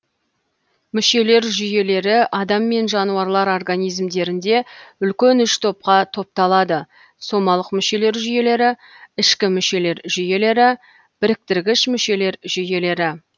мүшелер жүйелері адам мен жануарлар организмдерінде үлкен үш топқа топталады сомалық мүшелер жүйелері ішкі мүшелер жүйелері біріктіргіш мүшелер жүйелері